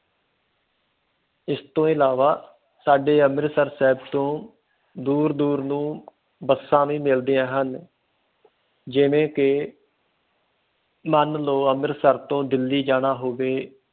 ਇਸ ਤੋਂ ਇਲਾਵਾ ਸਾਡੇ ਅੰਮ੍ਰਿਤਸਰ ਸ਼ਹਿਰ ਤੋਂ ਦੂਰ ਦੂਰ ਨੂੰ ਬੱਸਾਂ ਵੀ ਮਿਲਦੀਆਂ ਹਨ ਜਿਵੇ ਕਿ ਮਨ ਲੋ ਅੰਮ੍ਰਿਤਸਰ ਤੋਂ ਦਿੱਲੀ ਜਾਣਾ ਹੋਵੇ